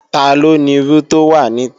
Taló nirú tó wà nita?